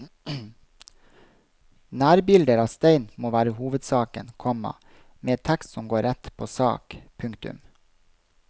Nærbilder av stein må være hovedsaken, komma med tekst som går rett på sak. punktum